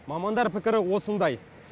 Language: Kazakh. мамандар пікірі осындай